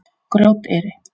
Grjóteyri